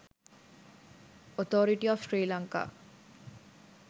authority of sri lanka